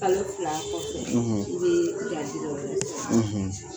Kalo fila kɔfɛ i be